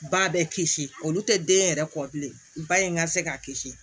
Ba bɛ kisi olu tɛ den yɛrɛ kɔ bilen ba in ka se k'a kisi